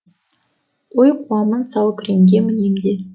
ой қуамын сал күреңге мінем де